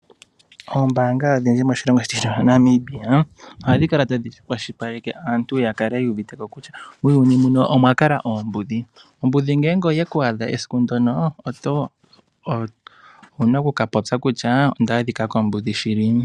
Ombaanga odhindji moshilongo shetu shaNamibia ohadhi kala tadhi kwashilipaleke aantu ya kale yu uvite ko kutya muuyuni muno omwa kala oombudhi, ombudhi ngele oye ku adha esiku ndyoka owu na okukapopya kutya onda adhika kombudhi shili.